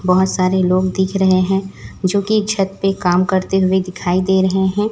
बहोत सारे लोग दिख रहे हैं जोकि छत पे काम करते हुए दिखाई दे रहे है।